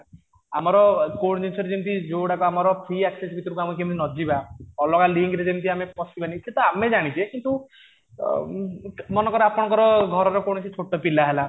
ଆମର core nature ଯେମିତି ଯୋଉ ଗୁଡାକ ଆମର ଫ୍ରି access ଭିତରକୁ କେମିତି ନ ଯିବା ଅଲଗା ଲିଙ୍କରେ କେମିତି ଆମେ ପଶିବାନି ସେତ ଆମେ ଜାଣିଛେ କିନ୍ତୁ ଉମ ମନେ କର ଆପଣଙ୍କର ଘରର କୌଣସି ଛୋଟ ପିଲା ହେଲା